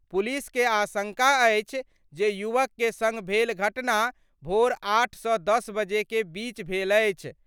Police के आशंका अछि जे युवक के संग भेल घटना भोर 8 सं 10 बजे के बीच भेल अछि।